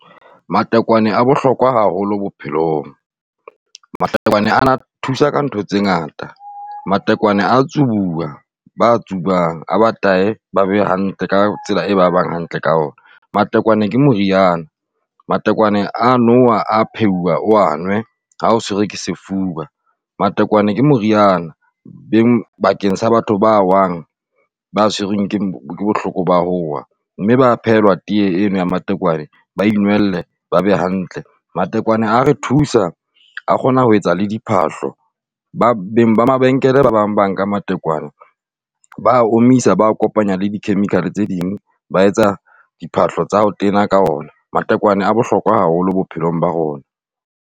Matekwane a bohlokwa haholo bophelong. Matekwane a thusa ka ntho tse ngata, matekwane a tsujwa ba tsubang a be taye ba be hantle ka tsela e ba bang hantle ka ona, matekwane ke moriana, matekwane a nowa, a phehuwa o a nwe ha o tshwere ke sefuba matekwane ke moriana beng bakeng sa batho ba wang ba tshwerweng ke bohloko ba ho wa, mme ba phehelwa tee eo ya matekwane ba inwelle ba be hantle, matekwane a re thusa a kgona ho etsa le diphahlo. Ba beng ba mabenkele ba bang ba nka matekwane ba omisa ba a kopanya di-chemical tse ding, ba etsa diphahlo tsa ho tena ka ona, matekwane a bohlokwa haholo bophelong ba rona.